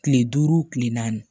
Kile duuru kile naani